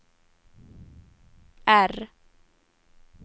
R